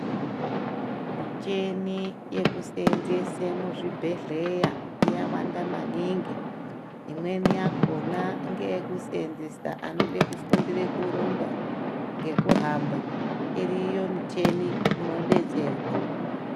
Michini yekuseenzesa muzvibhedhleya yawanda maningi imweni yakona ngeyekuseenzesa anode kufundira kurumba ngekuhamba iriyo michini unodetserwa.